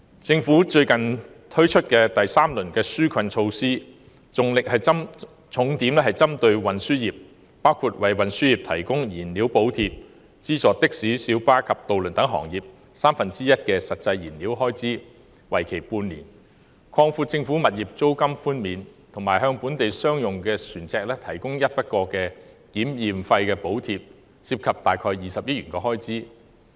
政府最近推出第三輪紓困措施，重點針對運輸業，包括為運輸業提供燃料補貼；資助的士、小巴及渡輪等行業三分之一的實際燃料開支，為期半年；擴闊政府物業租金寬免的範圍，以及向本地商用船隻提供一筆過檢驗費用補貼，涉及約20億元開支。